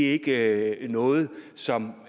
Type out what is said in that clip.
ikke noget som